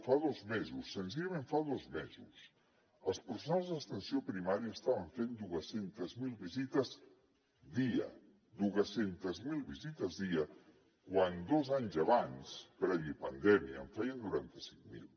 fa dos mesos senzillament fa dos mesos els professionals d’atenció primària estaven fent dos cents miler visites dia dos cents miler visites dia quan dos anys abans previ a la pandèmia en feien noranta cinc mil